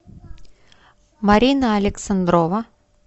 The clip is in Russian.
марина александрова